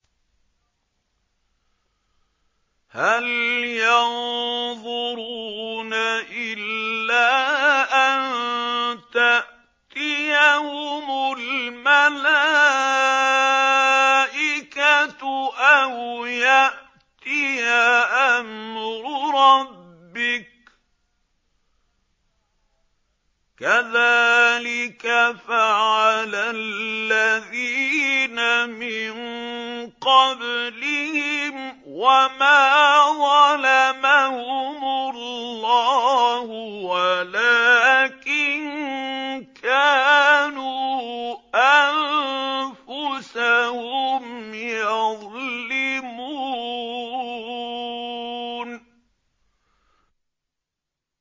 هَلْ يَنظُرُونَ إِلَّا أَن تَأْتِيَهُمُ الْمَلَائِكَةُ أَوْ يَأْتِيَ أَمْرُ رَبِّكَ ۚ كَذَٰلِكَ فَعَلَ الَّذِينَ مِن قَبْلِهِمْ ۚ وَمَا ظَلَمَهُمُ اللَّهُ وَلَٰكِن كَانُوا أَنفُسَهُمْ يَظْلِمُونَ